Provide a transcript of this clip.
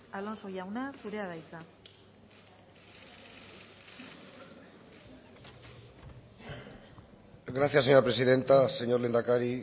alonso jauna zurea da hitza gracias señora presidenta señor lehendakari